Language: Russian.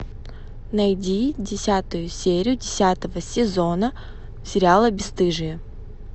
найди десятую серию десятого сезона сериала бесстыжие